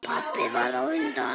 Pabbi varð á undan.